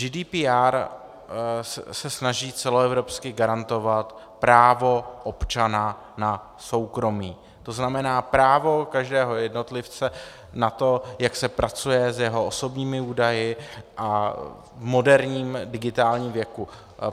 GDPR se snaží celoevropsky garantovat právo občana na soukromí, to znamená právo každého jednotlivce na to, jak se pracuje s jeho osobními údaji a v moderním digitálním věku.